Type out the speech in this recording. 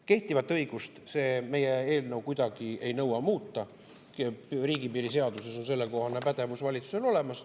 Kehtivat õigust muuta see meie eelnõu kuidagi ei nõua, riigipiiri seaduses on sellekohane pädevus valitsusel olemas.